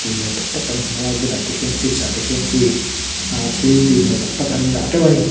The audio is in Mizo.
tui hmel tak tak kan hmu a bulah te khian fridge ah te khian khi ahh thil tui hmel tak tak an dah teuh a ni.